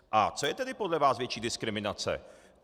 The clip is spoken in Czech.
A co je tedy podle vás větší diskriminace?